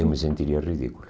Eu me sentiria ridículo.